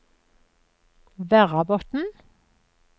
Verrabotn